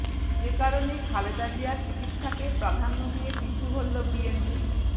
যে কারণে খালেদা জিয়ার চিকিৎসাকে প্রাধান্য দিয়ে পিছু হটলো বিএনপি